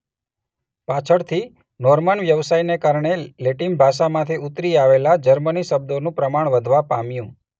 પાછળથી નોર્મન વ્યવસાયને કારણે લેટિન ભાષામાંથી ઉતરી આવેલા જર્મની શબ્દોનું પ્રમાણ વધવા પામ્યું.